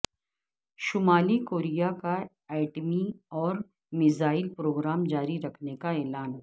شمالی کوریا کا ایٹمی اور میزائل پروگرام جاری رکھنے کا اعلان